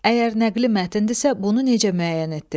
Əgər nəqli mətndirsə, bunu necə müəyyən etdin?